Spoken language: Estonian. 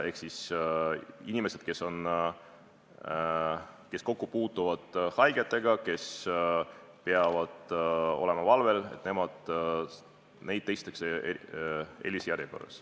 Neid inimesi, kes haigetega kokku puutuvad ja kes peavad olema valvel, testitakse eelisjärjekorras.